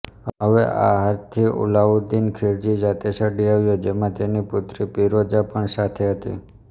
હવે આ હારથી અલાઉદ્દીન ખિલજી જાતે ચડી આવ્યો જેમાં તેની પુત્રી પિરોજા પણ સાથે હતી